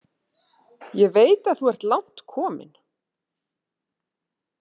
Ég veit að þú ert langt komin.